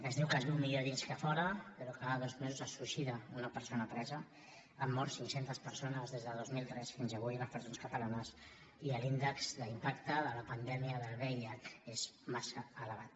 es diu que es viu millor a dins que a fora però cada dos mesos se suïcida una persona presa han mort cinc centes persones des de dos mil tres fins avui a les presons catalanes i l’índex d’impacte de la pandèmia del vih és massa elevat